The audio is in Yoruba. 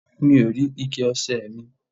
Mi ò rí ike ọṣẹ ẹ̀ mi.